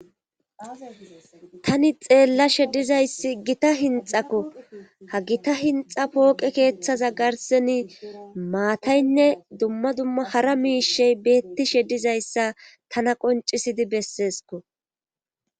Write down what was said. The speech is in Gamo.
Tani xeellashe dizayssi gita hinxakko ha gita hinxa pooqe keeththaza garseni maataynne dumma dumma hara miishey beettishe dizayssa tana qoncisidi besseesko